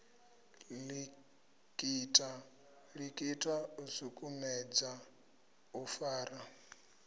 likita u sukumedza u fara